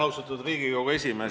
Austatud Riigikogu esimees!